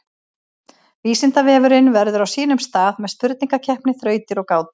Vísindavefurinn verður á sínum stað með spurningakeppni, þrautir og gátur.